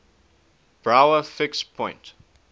brouwer fixed point